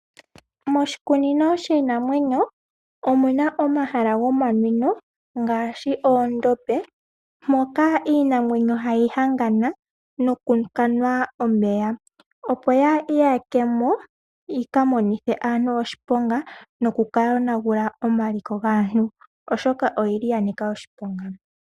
Moshikunino shiinamwenyo omuna oma hala goma nwino ngaashi oondobe moka iinamwenyo ha yi hangana noku kanwa omeya, opo yaa iyakemo yika monithe aantu oshiponga noku ka yona gula omaliko gaantu, oshoka oyili ya nika oshiponga.